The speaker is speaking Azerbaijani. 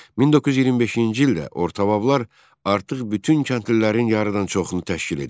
1925-ci ildə ortabablar artıq bütün kəndlilərin yarıdan çoxunu təşkil edirdi.